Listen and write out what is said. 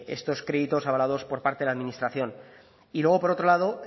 estos créditos avalados por parte la administración y luego por otro lado